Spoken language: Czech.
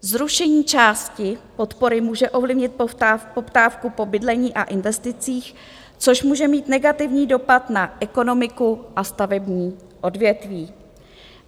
Zrušení části podpory může ovlivnit poptávku po bydlení a investicích, což může mít negativní dopad na ekonomiku a stavební odvětví.